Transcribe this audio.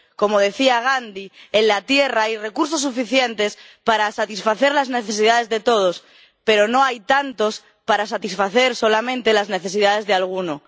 Como decía Gandhi, en la tierra hay recursos suficientes para satisfacer las necesidades de todos, pero no hay tantos para satisfacer solamente las necesidades de alguno.